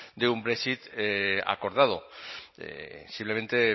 de un brexit acordado simplemente